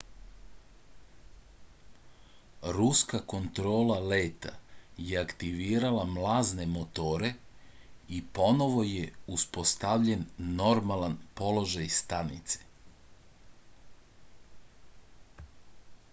ruska kontrola leta je aktivirala mlazne motore i ponovo je uspostavljen normalan položaj stanice